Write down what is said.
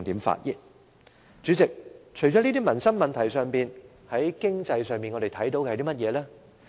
主席，除了以上的民生問題外，我們在經濟方面又看到甚麼政策呢？